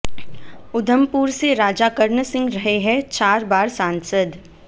ऊधमपुर से राजा कर्ण सिंह रहे हैं चार बार सांसद